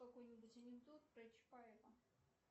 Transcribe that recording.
какой нибудь анекдот про чапаева